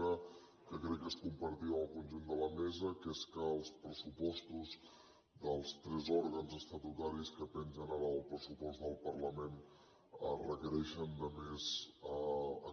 una que crec que és compartida amb el conjunt de la mesa que és els pressupostos dels tres òrgans estatutaris que pengen ara del pressupost del parlament requereixen més